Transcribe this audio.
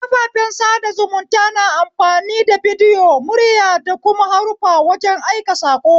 Kafafen sada zumunta na amfani da bidiyo, murya da kuma haruffa wajen aika sako.